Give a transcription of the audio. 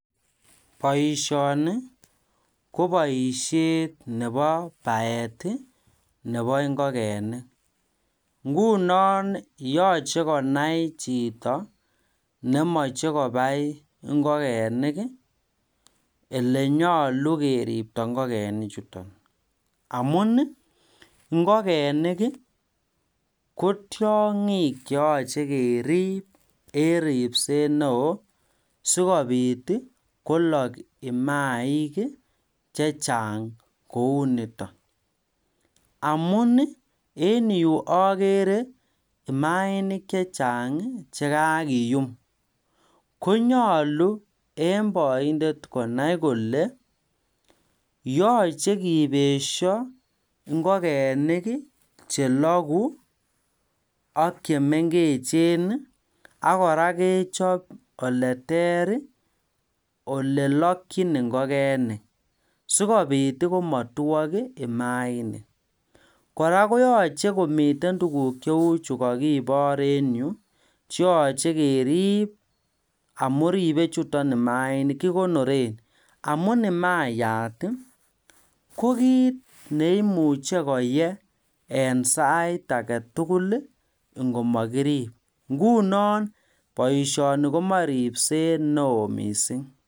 Boisioni ko boisiet nebobaet nebo ingokenik ingunon yoche konai chito nemoche kobai ingokenik elenyolu keribto ingokenik chuton amun ingokenik Ii kotiongik che yoche korib en ripset neo sikobit kolok imaik chechang kou niton amun en yu ogeere imainik chechang chekakiyum konyolu en boindet konai kole yoche kibesio ingokenik cheloku ak chemengechen ak kora kechob oleter ole lokyin ingokenik sikobit komotiok imainik kora koyoche komiten tuguk cheu chu kokibor en yu cheyoche keri amun ribe chuton imainik kikonoren amun imayat kokit neimuche koye en sait agetugul ingomokirib ingunon boisioni komoche ripset neo mising